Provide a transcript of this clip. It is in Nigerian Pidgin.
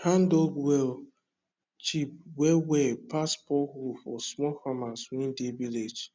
handdug well cheap well well pass borehole for small farmers wey dey village